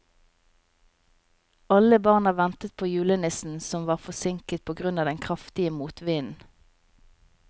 Alle barna ventet på julenissen, som var forsinket på grunn av den kraftige motvinden.